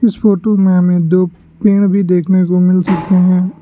इस में फोटो हमें दो पेड़ भी देखने को मिल सकते हैं।